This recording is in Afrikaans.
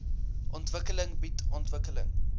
ontwikkeling bied ontwikkeling